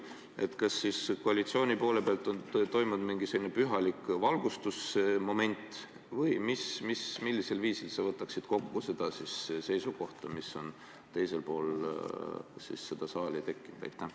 Kas siis koalitsiooni poolel on toimunud mingi selline pühalik valgustusmoment või millisel viisil sa võtaksid kokku seisukoha, mis on selle saali teisel poolel tekkinud?